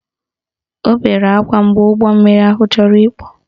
Ọ bere akwa mgbe ụgbọmmiri ahụ chọrọ ikpu